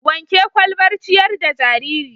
Wanke ƙwalbar ciƴar da jariri.